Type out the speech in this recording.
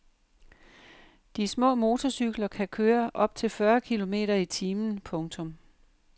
De små motorcykler kan køre op til fyrre kilometer i timen. punktum